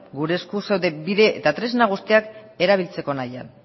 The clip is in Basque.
gure errekurtso bide eta tresna guztiak erabiltzeko nahian